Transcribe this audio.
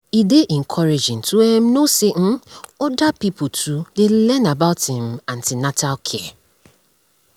e dey encouraging to um know say um other pipo too dey learn about um an ten atal care